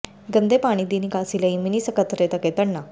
ਗੰਦੇ ਪਾਣੀ ਦੀ ਨਿਕਾਸੀ ਲਈ ਮਿਨੀ ਸਕੱਤਰੇਤ ਅੱਗੇ ਧਰਨਾ